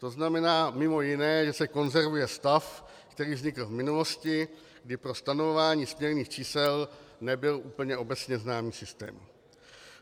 To znamená mimo jiné, že se konzervuje stav, který vznikl v minulosti, kdy pro stanovování směrných čísel nebyl úplně obecně známý systém.